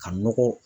Ka nɔgɔ